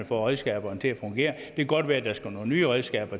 få redskaberne til at fungere det kan godt være der skal nogle nye redskaber